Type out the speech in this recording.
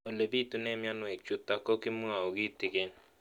Ole pitune mionwek chutok ko kimwau kitig'�n